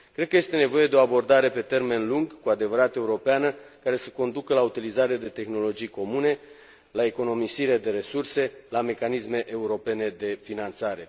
Cred că este nevoie de o abordare pe termen lung, cu adevărat europeană, care să conducă la o utilizare de tehnologii comune, la economisire de resurse, la mecanisme europene de finanțare.